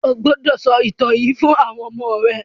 O gbódò sọ ìtàn yíì fún àwọn ọmọ rẹ!